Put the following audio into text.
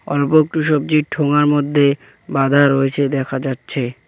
অল্প একটু সবজি ঠোঙার মধ্যে বাঁধা রয়েছে দেখা যাচ্ছে।